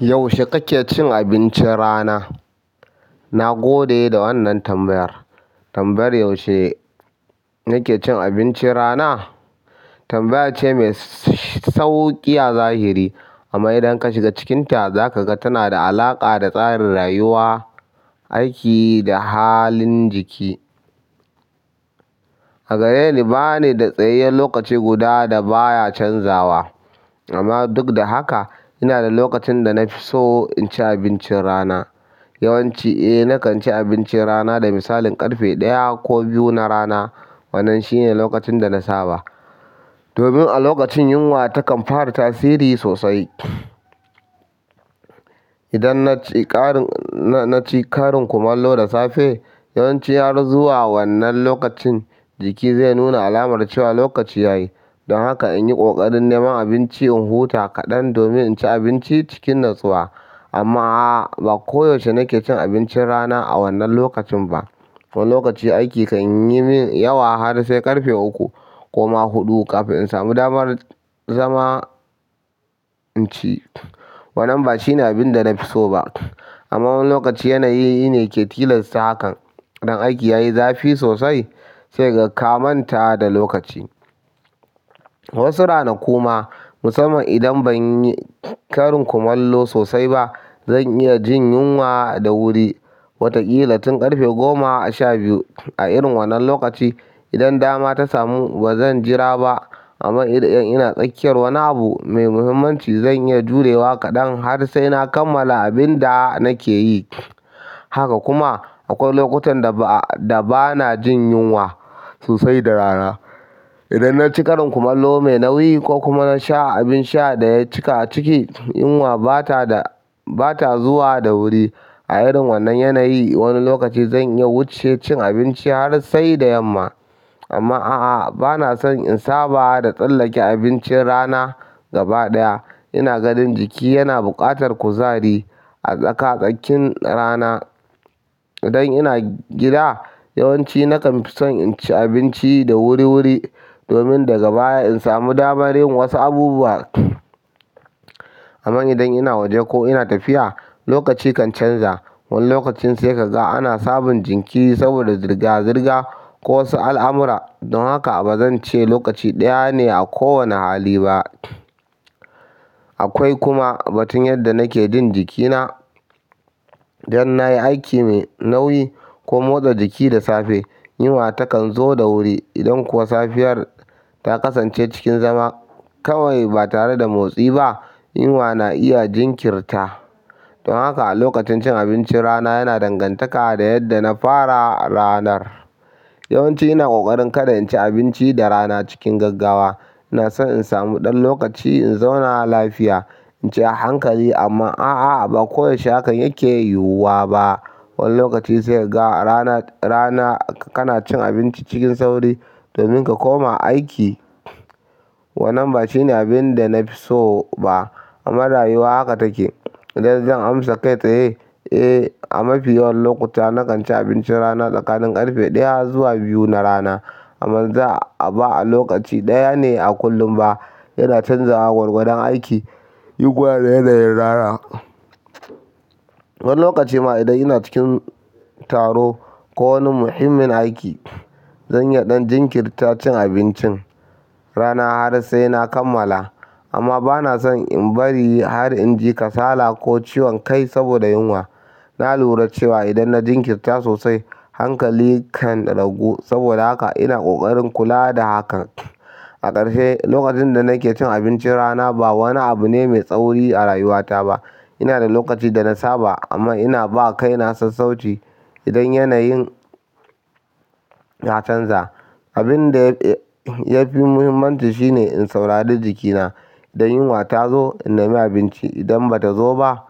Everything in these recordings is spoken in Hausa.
Yaushe kake cin abincin rana? Na gode da wannan tambayar. Tambayar "Yaushe nake cin abincin rana?" tambaya ce mai sauƙi a zahiri amma idan ka shiga cikinta, za ka ga tana da alaƙa da tsarin rayuwa, aiki da halin jiki. A gareni, ba ni da tsayayyen lokaci guda da baya canzawa amma duk da haka, ina da lokacin da na fi so in ci abincin rana. Yawanci, eh, na kan ci abincin rana da misalin ƙarfe ɗaya ko biyu na rana. Wannan shi ne lokacin da na saba. Domin a lokacin yunwa takan fara tasiri sosai. Idan na ci ƙarin kumallo da safe, yawanci har zuwa wannan lokacin jiki zai nuna alamar cewa lokaci ya yi. Don haka in yi ƙoƙarin neman abinci in huta kaɗan domin in ci abinci cikin natsuwa. Amma a'a, ba koyaushe nake cin abincin rana a wannan lokacin ba. Wani lokaci aiki kan yi min yawa har sai ƙarfe uku ko ma huɗu kafin in samu damar zama in ci. Wannan ba shine abin da na fi so ba amma wani lokaci yanayi ne yake tilasta hakan. Idan aiki ya yi zafi sosai sai ka ga kamanta da lokaci. Wasu rana kuma, musamman idan ban yi ƙarin kumallo sosai ba, zan iya jin yunwa da wuri. Wataƙila tun ƙarfe goma a sha biyu a irin wannan lokaci. Idan dama ta samu bazan jira ba amma idan ina tsakiyar wani abu mai muhimmanci, zan iya jurewa kaɗan har sai na kammala abin da nake yi. Haka kuma akwai lokutan da bana jin yunwa sosai da rana. Idan na ci ƙarin kumallo mai nauyi ko kuma na sha abin sha da ya cika ciki, yunwa ba ta zuwa da wuri. A irin wannan yanayi, wani lokaci zan iya wuce cin abinci har sai da yamma. Amma a'a, bana son in saba da tsallake abincin rana gaba ɗaya. Ina ganin jiki yana buƙatar kuzari a tsakanin rana. Idan ina gida, yawanci nakan fi son in ci abinci da wuri-wuri domin daga baya in samu damar yin wasu abubuwa. Amma idan ina waje ko ina tafiya, lokaci kan canza. Wani lokacin sai ka ga ana sabon jinki ri saboda zirga-zirga ko wasu al'amura. Don haka bazan ce lokaci ɗaya ne a kowane hali ba. Akwai kuma batun yadda nake jin jikina. Idan na yi aiki mai nauyi ko motsa jiki da safe, yunwa takan zo da wuri. Idan kuwa safiyar ta kasance cikin zama kawai ba tare da motsi ba, yunwa na iya jinkirta. Don haka lokacin cin abincin rana yana dangantaka da yadda na fara ranar. Yawanci ina ƙoƙarin kada in ci abinci da rana cikin gaggawa. Ina son in samu ɗan lokaci in zauna lafiya in ci a hankali amma a'a, ba koyaushe hakan yake yiwuwa ba. Wani lokaci sai ka ga rana kana cin abinci cikin sauri domin ka koma aiki. Wannan ba shine abin da na fi so ba amma rayuwa haka take. Idan zan amsa kai tsaye, eh, a mafi yawan lokuta na kan ci abincin rana tsakanin ƙarfe ɗaya zuwa biyu na rana amma ba a lokaci ɗaya ne a kullum ba. Yana canzawa gwargwadon aiki, yi kuwa da yanayin rana. Wani lokaci ma idan ina cikin taro ko wani muhimmin aiki, zan iya ɗan jinkirta cin abincin rana har sai na kammala amma bana son in bari har in ji kasala ko ciwon kai saboda yunwa. Na lura cewa idan na jinkirta sosai, hankali kan ragu saboda haka ina ƙoƙarin kula da hakan. A ƙarshe, lokacin da nake cin abincin rana ba wani abu ne mai tsauri a rayuwata ba. Ina da lokaci da na saba amma ina ba kai na sassauci. Idan yanayin ya canza, abin da yafi muhimmanci shine in saurari jikina. Da yunwa ta zo, in nami abinci. Idan bata zo ba,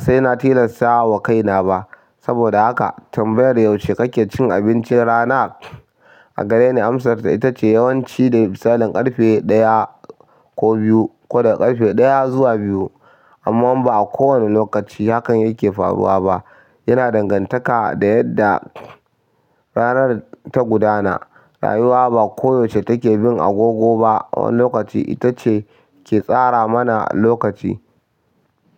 sai na tilasta wa kaina ba. Saboda haka tambayar "Yaushe kake cin abincin rana?" a gareni amsarta ita ce yawanci da misalin ƙarfe ɗaya ko biyu ko daga ƙarfe ɗaya zuwa biyu amma ba a kowane lokaci hakan yake faruwa ba. Yana dangantaka da yadda ranar ta gudana. Rayuwa ba koyaushe take bin agogo ba. Wani lokaci ita ce ke tsara mana lokaci.